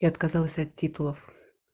я отказалась от титулов